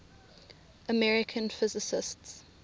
american physicists